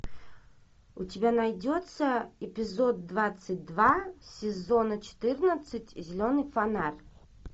у тебя найдется эпизод двадцать два сезона четырнадцать зеленый фонарь